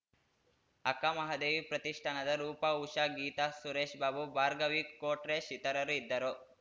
ಅಕ್ಕಮಹಾದೇವಿ ಪ್ರತಿಷ್ಠಾನದ ರೂಪಾ ಉಷಾ ಗೀತಾ ಸುರೇಶ್‌ ಬಾಬು ಭಾಗರ್‍ವಿ ಕೊಟ್ರೇಶ್‌ ಇತರರು ಇದ್ದರು